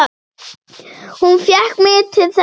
Hún fékk mig til þess!